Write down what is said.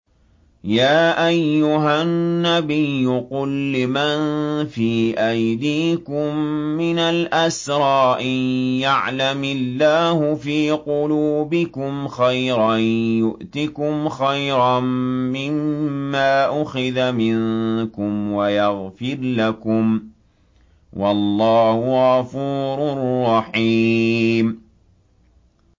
يَا أَيُّهَا النَّبِيُّ قُل لِّمَن فِي أَيْدِيكُم مِّنَ الْأَسْرَىٰ إِن يَعْلَمِ اللَّهُ فِي قُلُوبِكُمْ خَيْرًا يُؤْتِكُمْ خَيْرًا مِّمَّا أُخِذَ مِنكُمْ وَيَغْفِرْ لَكُمْ ۗ وَاللَّهُ غَفُورٌ رَّحِيمٌ